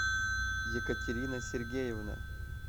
екатерина сергеевна